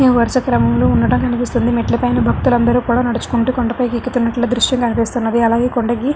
ఈ వరుస క్రమం లో ఉండడం కనిపిస్తుంది మెట్లు పైన భక్తులందరూ కూడా కొండ పైకి ఎక్కుతున్నట్లు దృశ్యం కనిపిస్తున్నది అలాగే కొండకి --